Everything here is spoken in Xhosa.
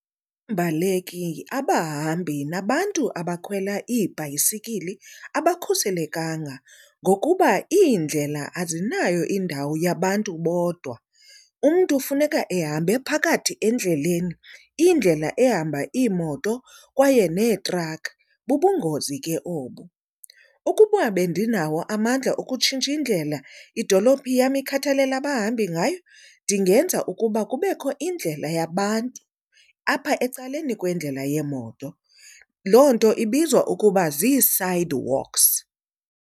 Iimbaleki, abahambi nabantu abakhwela ibhayisikili abakhuselekanga ngokuba indlela azinayo indawo yabantu bodwa. Umntu funeka ehambe phakathi endleleni, indlela ehamba iimoto kwaye neetrakhi. Bubungozi ke obo. Ukuba bendinawo amandla okutshintsha indlela idolophi yam ekhathalele abahambi ngayo ndingenza ukuba kubekho indlela yabantu apha ecaleni kwendlela yeemoto. Loo nto ibizwa ukuba zii-sidewalks.